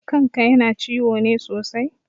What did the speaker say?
Kan ka yana ciwo ne sosai?